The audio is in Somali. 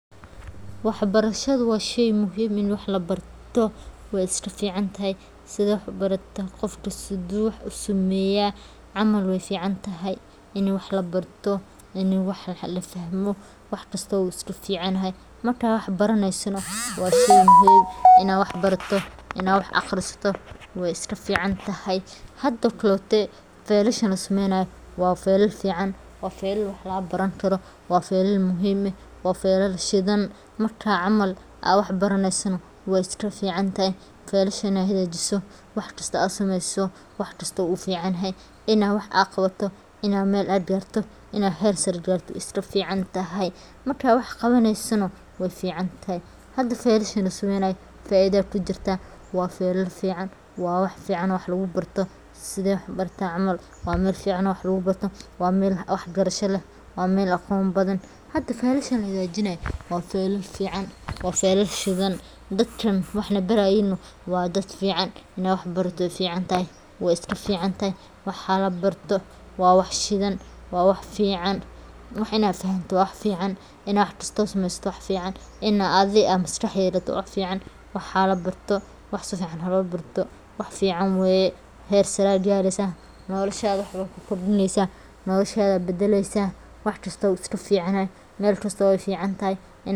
Waxbarashadu waa sheey muhim ah, wey iska fican tahay ini wax labarto axbarashadu waa furaha horumarka nolosha qofka iyo bulshada guud ahaan. Waxay qofka siisaa aqoon, xirfado, iyo faham uu kaga qayb qaato horumarinta naftiisa iyo dalkiisaba. Qof waxbartay wuxuu awood u leeyahay inuu kala saaro xaq iyo baadil, wuxuuna door muuqda ka ciyaaraa go'aan qaadashada nolosha. Intaa waxaa dheer, waxbarashadu waa waddada ugu sahlan ee lagu ciribtiro saboolnimada, lagu helo shaqooyin wanaagsan, laguna gaaro horumar dhaqaale iyo bulsho. Bulsho aan waxbarasho lahayn waa bulsho ay adagtahay inay horumar gaarto noloshada aa badaleso wax kasto uu iska ficnani mel kasto wey fican tahay.